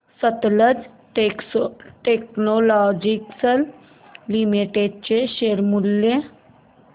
Sutlej textiles limited चे share मूल्य